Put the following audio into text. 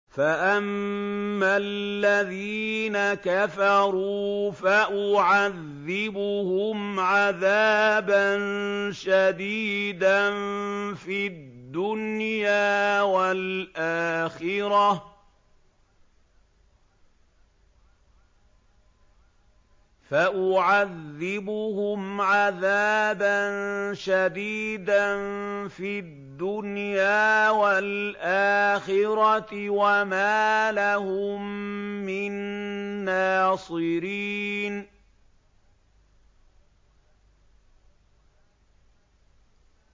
فَأَمَّا الَّذِينَ كَفَرُوا فَأُعَذِّبُهُمْ عَذَابًا شَدِيدًا فِي الدُّنْيَا وَالْآخِرَةِ وَمَا لَهُم مِّن نَّاصِرِينَ